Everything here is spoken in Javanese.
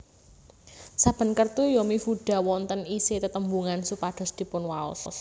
Saben kertu yomifuda wonten isi tetembungan supados dipunwaos